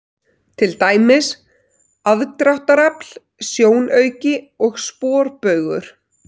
Til dæmis: aðdráttarafl, sjónauki og sporbaugur.